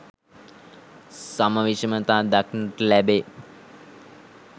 සම විෂමතා දක්නට ලැබේ.